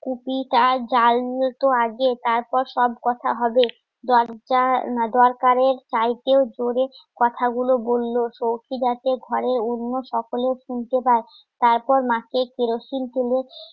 তার জাল নিয়ে তো আগে তারপর সব কথা হবে দরজা, দরকারের চাইতেও জোরে কথাগুলো বলল সউখি ঘরে অন্য সকলে শুনতে পায় তারপর মাকে কেরোসিন তেলে